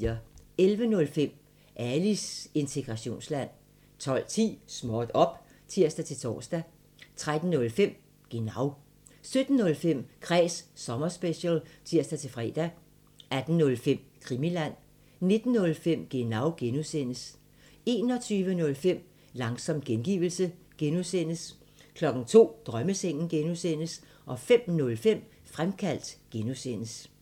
11:05: Alis integrationsland 12:10: Småt op! (tir-tor) 13:05: Genau 17:05: Kræs sommerspecial (tir-fre) 18:05: Krimiland 19:05: Genau (G) 21:05: Langsom gengivelse (G) 02:00: Drømmesengen (G) 05:05: Fremkaldt (G)